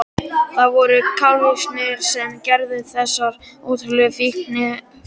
Það voru kalvínistarnir sem gerðu þessar ótrúlega fíngerðu myndir.